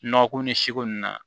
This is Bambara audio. Nɔgɔ ko ni siko nunnu na